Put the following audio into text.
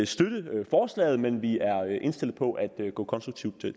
støtte forslaget men vi er indstillet på at gå konstruktivt